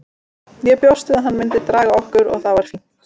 Ég bjóst við að hann myndi draga okkur og það er fínt.